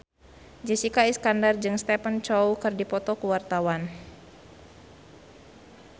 Jessica Iskandar jeung Stephen Chow keur dipoto ku wartawan